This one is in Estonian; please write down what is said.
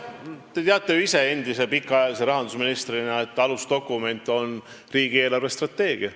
Te teate ju ise endise pikaajalise rahandusministrina, et alusdokument on riigi eelarvestrateegia.